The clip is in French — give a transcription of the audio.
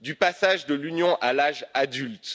Du passage de l'Union à l'âge adulte.